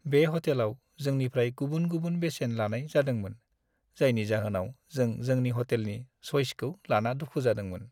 बे ह'टेलाव जोंनिफ्राय गुबुन-गुबुन बेसेन लानाय जादोंमोन, जायनि जाहोनाव जों जोंनि ह'टेलनि सइसखौ लाना दुखु जादोंमोन।